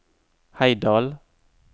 Heidal